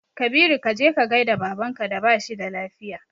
Kabiru kaje ka gaida baban ka da bashi da lafiya